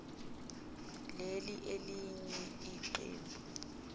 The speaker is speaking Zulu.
leli elinye iqembu